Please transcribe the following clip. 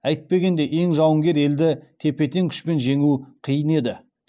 әйтпегенде ең жауынгер елді тепе тең күшпен жеңу қиын еді